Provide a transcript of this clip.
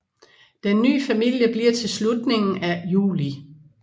Den nye familie bliver til i slutningen af juli